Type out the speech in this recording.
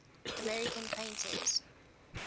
american painters